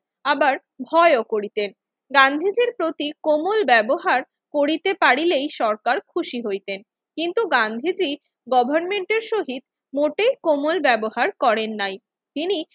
আবার ভয়ও করিতেন। গান্ধীজির প্রতি কোমল ব্যবহার করিতে পারিলেই সরকার খুশি হইতেন। কিন্তু গান্ধীজি গভর্নমেন্টের সহিত মোটেই কোমল ব্যবহার করেন নাই। তিনি